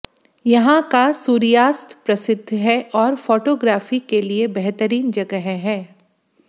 यहाँ का सूर्यास्त प्रसिद्ध है और फोटोग्राफी के लिए बेहतरीन जगह है